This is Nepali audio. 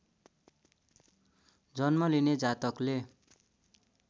जन्म लिने जातकले